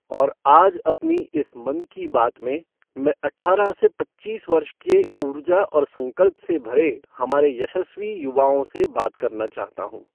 और आज अपनी इस मन की बात में, मैं अठारह से पच्चीस वर्ष के ऊर्जा और संकल्प से भरे हमारे यशस्वी युवाओं से बात करना चाहता हूँ।